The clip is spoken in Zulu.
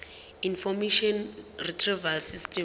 information retrieval system